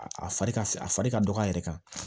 A fari ka a fari ka dɔgɔ a yɛrɛ kan